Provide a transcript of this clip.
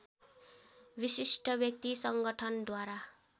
विशिष्ट व्यक्ति संगठनद्वारा